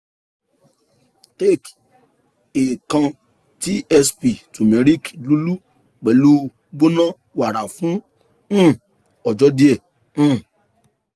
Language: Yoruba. take a kan tsp turmeric lulú pẹlu gbona wara fun um ọjọ diẹ um